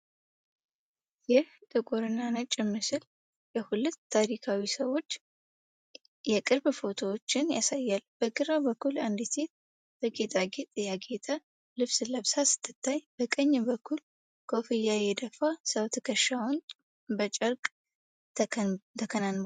ይህ ጥቁር እና ነጭ ምስል የሁለት ታሪካዊ ሰዎች የቅርብ ፎቶዎችን ያሳያል። በግራ በኩል አንዲት ሴት በጌጣጌጥ ያጌጠ ልብስ ለብሳ ስትታይ፣ በቀኝ በኩል ኮፍያ የደፋ ሰው ትከሻውን በጨርቅ ተከናንቧል።